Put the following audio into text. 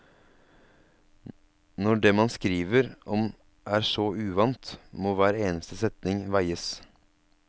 Når det man skriver om er så uvant, må hver eneste setning veies.